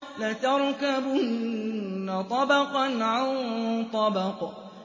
لَتَرْكَبُنَّ طَبَقًا عَن طَبَقٍ